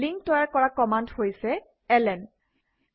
link তৈয়াৰ কৰা command হৈছে ln